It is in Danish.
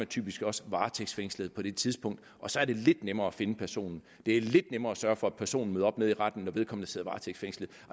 typisk også varetægtsfængslet på det tidspunkt og så er det lidt nemmere at finde personen det er lidt nemmere at sørge for at personen møder op nede i retten når vedkommende sidder varetægtsfængslet